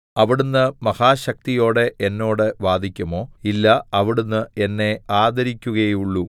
അവിടുന്ന് മഹാശക്തിയോടെ എന്നോട് വാദിക്കുമോ ഇല്ല അവിടുന്ന് എന്നെ ആദരിക്കുകയേയുള്ളൂ